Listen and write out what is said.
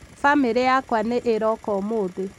bamĩrĩ yakwa nĩ ĩroka ũmũthĩ